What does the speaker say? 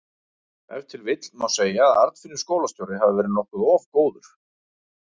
Ef til vill má segja að Arnfinnur skólastjóri hafi verið okkur of góður.